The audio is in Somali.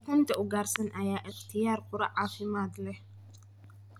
Ukunta ugaarsan ayaa ah ikhtiyaar quraac caafimaad leh.